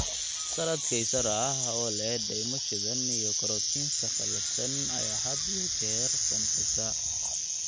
Salad Kaysar ah oo leh dhaymo shiidan iyo croutons-ka qallafsan ayaa had iyo jeer qancisa.